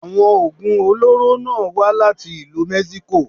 Àwọn Ògùn olóró náà wá láti ìlú Mexico.